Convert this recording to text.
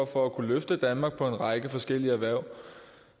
for at kunne løfte danmark for en række forskellige erhverv